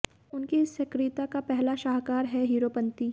उनकी इस सक्रियता का पहला शाहकार है हीरोपंती